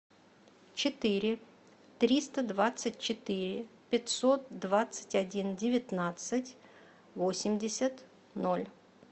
четыре триста двадцать четыре пятьсот двадцать один девятнадцать восемьдесят ноль